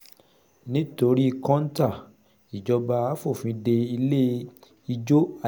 nítorí kọ́ńtà ìjọba fòfin dé ilé ijó